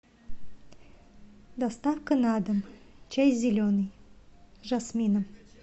доставка на дом чай зеленый с жасмином